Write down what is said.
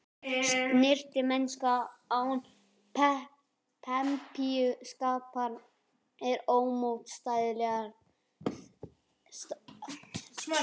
Snyrtimennska án pempíuskapar er ómótstæðilegur eiginleiki hjá piltum.